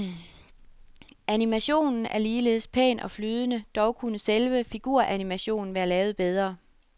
Animationen er ligeledes pæn og flydende, dog kunne selve figuranimationen være lavet bedre.